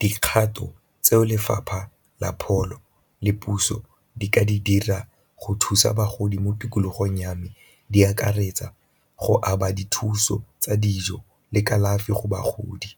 Dikgato tseo lefapha la pholo le puso di ka di dira go thusa bagodi mo tikologong ya me di akaretsa go aba dithuso tsa dijo le kalafi go bagodi,